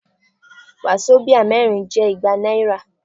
Wàsobíà mẹ́rin jẹ́ igba náírà.